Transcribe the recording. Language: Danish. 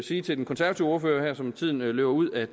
sige til den konservative ordfører som tiden løber ud at